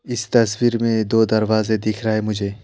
इस तस्वीर में दो दरवाजे दिख रहा है मुझे।